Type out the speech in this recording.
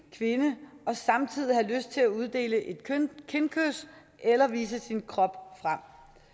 kvinde og samtidig have lyst til at uddele et kindkys eller vise sin krop frem